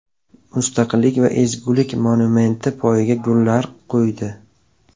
Mustaqillik va ezgulik monumenti poyiga gullar qo‘ydi.